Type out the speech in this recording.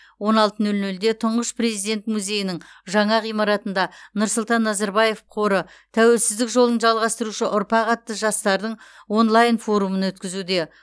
он алты нөл нөлде тұңғыш президент музейінің жаңа ғимаратында нұрсұлтан назарбаев қоры тәуелсіздік жолын жалғастырушы ұрпақ атты жастардың онлайн форумын өткізуде